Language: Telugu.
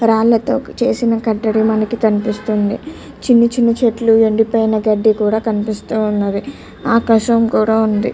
రాళ్లతో చేసిన కట్టడి మనకి కనిపిస్తుంది చిన్న చిన్న చెట్లు ఎండిపోయిన గడ్డి కూడా కనిపిస్తుంది ఆకాశం కూడా ఉంది.